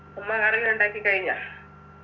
അമ്മ curry ഉണ്ടാക്കിക്കഴിഞ്ഞാ